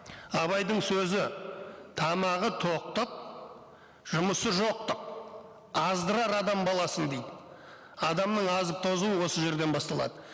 абайдың сөзі тамағы тоқтық жұмысы жоқтық аздырар адам баласын дейді адамның азып тозуы осы жерден басталады